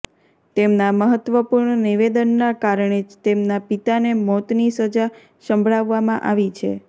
તેમના મહત્વપૂર્ણ નિવેદનના કારણે જ તેમના પિતાને મોતની સજા સંભળાવવામાં આવી છે